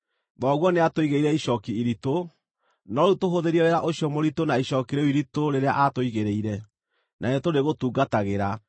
“Thoguo nĩatũigĩrĩire icooki iritũ, no rĩu tũhũthĩrie wĩra ũcio mũritũ na icooki rĩu iritũ rĩrĩa aatũigĩrĩire, na nĩtũrĩgũtungatagĩra.”